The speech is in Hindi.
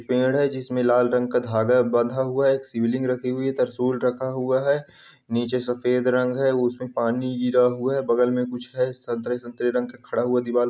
पेड़ है जिसमें लाल रंग का धागा बंधा हुआ है एक शिवलिंग रखी हुई है तिरशुल रखा हुआ है नीचे सफ़ेद रंग है उसमें पानी गिरा हुआ है बगल में कुछ है संतरे-संतरे रंग का खड़ा हुआ दीवाल --